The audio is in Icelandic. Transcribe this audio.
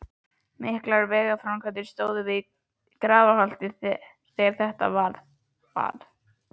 Miklar vegaframkvæmdir stóðu yfir við Grafarholt þegar þetta varð.